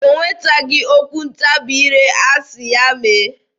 O nwetaghị okwu ntabi ire asị ya mee.